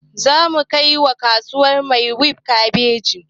Zamu kai wa kasuwar maitwef kabeji